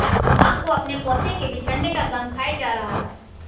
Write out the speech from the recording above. मां को अपने पोते के बिछड़ने का गम खाये जा रहा था